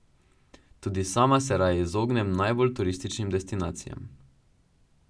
Tudi sama se raje izognem najbolj turističnim destinacijam.